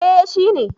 Eh shi ne